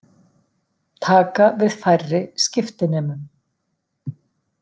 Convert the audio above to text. Taka við færri skiptinemum